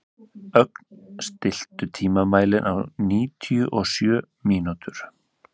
Ögn, stilltu tímamælinn á níutíu og sjö mínútur.